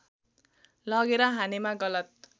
लगेर हानेमा गलत